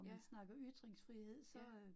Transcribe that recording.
Ja. Ja